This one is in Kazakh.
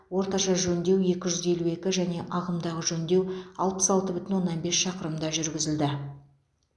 орташа жөндеу екі жүз елу екі және ағымдағы жөндеу алпыс алты бүтін оннан бес шақырымда жүргізілді